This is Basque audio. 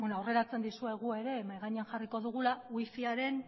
aurreratzen dizuegu ere mahai gainean jarriko dugula wi fiaren